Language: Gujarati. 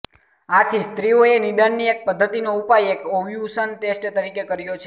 આથી સ્ત્રીઓએ નિદાનની એક પદ્ધતિનો ઉપાય એક ઓવ્યુશન ટેસ્ટ તરીકે કર્યો છે